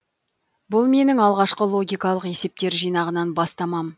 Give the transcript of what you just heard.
бұл менің алғашқы логикалық есептер жинағынан бастамам